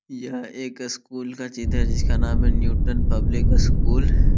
यह एक स्कूल का चित्र है जिसका नाम है न्यूटन पब्लिक स्कूल ।